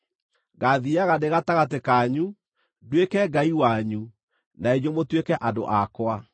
Ngaathiiaga ndĩ gatagatĩ kanyu, nduĩke Ngai wanyu, na inyuĩ mũtuĩke andũ akwa.